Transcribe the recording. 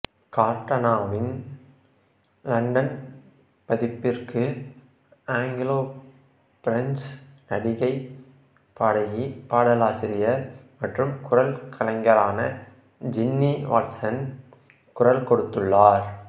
கார்டனாவின் London பதிப்பிற்கு Anglo French நடிகை பாடகி பாடலாசிரியர் மற்றும் குரல் கலைஞரான ஜின்னி வாட்சன் குரல் கொடுத்துள்ளார்